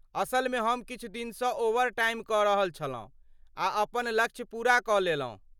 असलमे हम किछु दिनसँ ओवरटाइम कऽ रहल छलहुँ आ अपन लक्ष्य पूरा कऽ लेलहुँ।